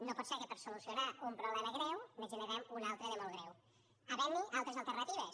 no pot ser que per a solucionar un problema greu ne generem un altre de molt greu havent hi altres alternatives